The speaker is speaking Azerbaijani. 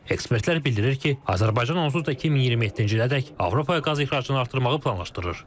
Ekspertlər bildirir ki, Azərbaycan onsuz da 2027-ci ilədək Avropaya qaz ixracını artırmağı planlaşdırır.